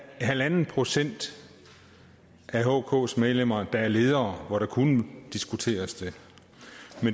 procent af hks medlemmer der er ledere og det kunne diskuteres